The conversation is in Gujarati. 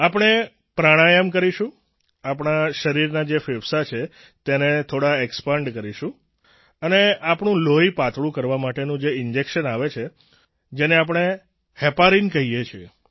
આપણે પ્રાણાયામ કરીશું આપણા શરીરના જે ફેફસાં છે તેને થોડા એક્સપેન્ડ કરીશું અને આપણું લોહી પાતળું કરવા માટેનું જે ઈન્જેક્શન આવે છે જેને આપણે હેપરિન કહીએ છીએ